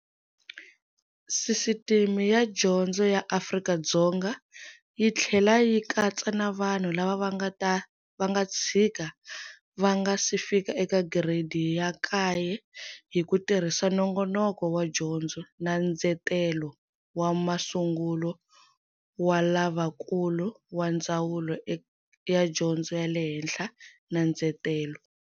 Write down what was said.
Sisiteme ya dyondzo ya Afrika-Dzonga yi tlhela yi katsa na vanhu lava va nga tshika va nga si fika eka Giredi ya Kaye, hi ku tirhisa nongonoko wa dyondzo na ndzetelo swa masungulo wa lavakulu wa Ndzawulo ya Dyondzo ya le Hhenhla na Ndzetelo.